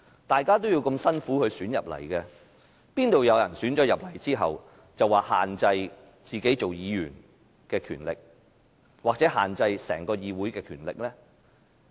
大家也要辛苦努力才當選進入議會，怎會有人獲選入議會後，便說要限制自己做議員的權力，或是限制整個議會的權力呢？